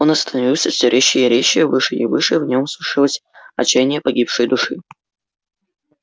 он становился все резче и резче выше и выше в нем слышалось отчаяние погибшей души